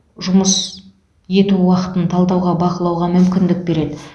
жұмыс ету уақытын талдауға бақылауға мүмкіндік береді